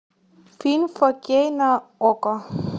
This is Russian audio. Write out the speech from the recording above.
фильм фо кей на окко